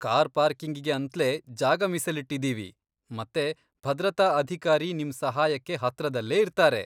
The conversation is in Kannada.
ಕಾರ್ ಪಾರ್ಕಿಂಗಿಗೆ ಅಂತ್ಲೇ ಜಾಗ ಮೀಸಲಿಟ್ಟಿದ್ದೀವಿ, ಮತ್ತೆ ಭದ್ರತಾ ಅಧಿಕಾರಿ ನಿಮ್ ಸಹಾಯಕ್ಕೆ ಹತ್ರದಲ್ಲೇ ಇರ್ತಾರೆ.